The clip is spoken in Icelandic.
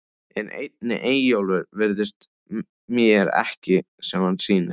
En einnig Eyjólfur virðist mér ekki sem hann sýnist.